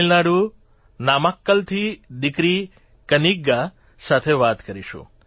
તમિલનાડુ નામાક્કલથી દિકરી કન્નિગા સાથે વાત કરીશું